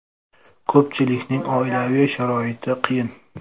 Ko‘pchiligining oilaviy sharoiti qiyin.